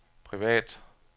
privat